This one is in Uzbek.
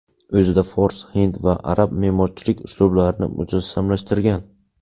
O‘zida fors, hind va arab me’morchilik uslublarini mujassamlashtirgan.